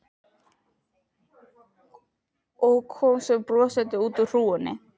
Og kom svo brosandi út úr hrúgunni.